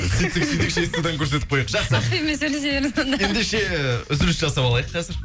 сөйтсек сөйтейікші инстадан көрсетіп қояйық жақсы ендеше үзіліс жасап алайық қазір